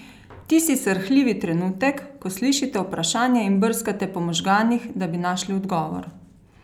Tisti srhljivi trenutek, ko slišite vprašanje in brskate po možganih, da bi našli odgovor?